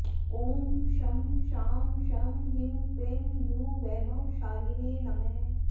ॐ शं शां षं ह्रीं क्लीं गुरुवैभवशालिने नमः